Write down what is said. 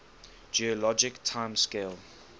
geologic time scale